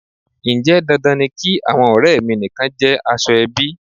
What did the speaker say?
Ǹjẹ́ dandan ni kí àwọn ọrẹ mi nìkan jẹ́ aṣọ - ẹbí?